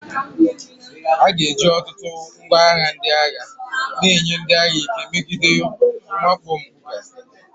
A ga-eji ọtụtụ ngwa agha ndị agha na-enye ndị agha ike megide mwakpo mpụga.